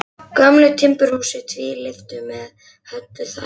Gömlu timburhúsi, tvílyftu með höllu þaki.